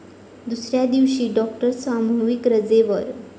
दुसऱ्या दिवशीही डॉक्टर सामूहिक रजेवर